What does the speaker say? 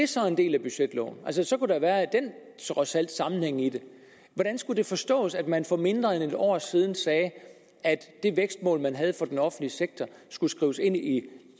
så en del af budgetloven så så kunne der været den sammenhæng i det hvordan skulle det forstås at man for mindre end et år siden sagde at det vækstmål man havde for den offentlige sektor skulle skrives ind i